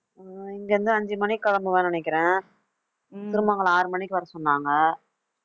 அஹ் இங்கே இருந்து, அஞ்சு மணிக்குக் கிளம்புவேன்னு நினைக்கிறேன் திருமங்கலம் ஆறு மணிக்கு வரச் சொன்னாங்க